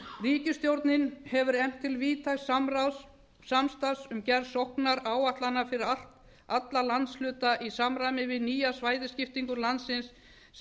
ríkisstjórnin hefur efnt til víðtæks samstarfs um gerð sóknaráætlana fyrir alla landshluta í samræmi við nýja svæðaskiptingu landsins sem